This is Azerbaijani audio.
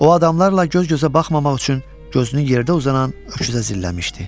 O adamlarla göz-gözə baxmamaq üçün gözünü yerdə uzanan öküzə zilləmişdi.